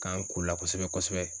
K'an k'o la kosɛbɛ kosɛbɛ.